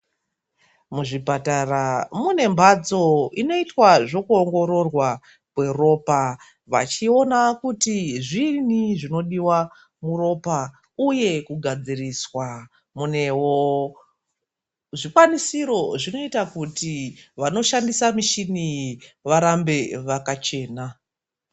Muzvipatara mune mbatso inoita zvekuongororwa kweropa vachiona kuti zvini zvinodiwa muropa uye kugadziriswa ,kunewo zvikwanisiro zvinoita kuti vanoshandisa michini varambe vakachena.